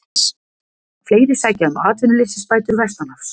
Fleiri sækja um atvinnuleysisbætur vestanhafs